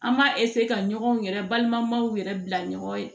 An b'a ka ɲɔgɔn yɛrɛ balimaw yɛrɛ bila ɲɔgɔn ye